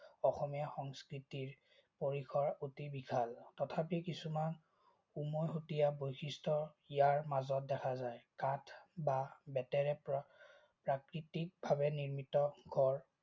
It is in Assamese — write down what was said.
অসমীয়া সংস্কৃতিৰ পৰিসৰ অতি বিশাল। তথাপিও কিছুমান উমৈহতীয়া বৈশিষ্ট ইয়াৰ মাজত দেখা যায়। কাঠ বা বেতেৰে তৈয়াৰ কৰা প্ৰাকৃতিক ভাৱে নিৰ্মিত ঘৰ